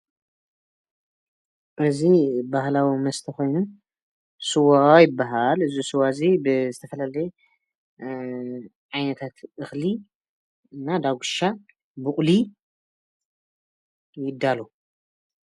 እዚ ባህላዊ መስተ ኮይኑ ስዋ ይበሃል.። እዚ ስዋ እዚ ብዝተፈላለየ ዓይነታት እክሊ እና ዳጉሻን ቡቑሊ ይዳሎ::